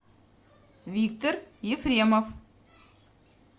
виктор ефремов